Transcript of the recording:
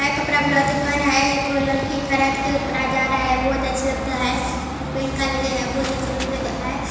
हई कपड़ा वला दुकान हई एक ठो लड़की खरीद के कपड़ा जा रहा हई बहुत अच्छी लगता हई और पेंखा लगे हई बहुत अच्छे लगते हई।